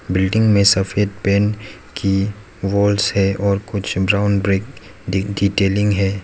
Building में सफेद paint की वॉल से और कुछ ब्राउन ब्रेड डिटेलिंग है।